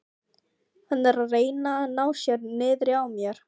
Hann er að reyna að ná sér niðri á mér.